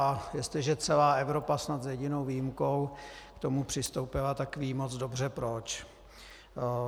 A jestliže celá Evropa snad s jedinou výjimkou k tomu přistoupila, tak ví moc dobře proč.